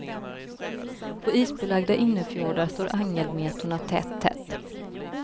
På isbelagda innerfjordar står angelmetorna tätt, tätt.